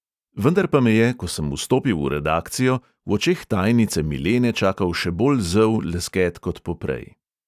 Vendar pa me je, ko sem vstopil v redakcijo, v očeh tajnice milene čakal še bolj zel lesket kot poprej.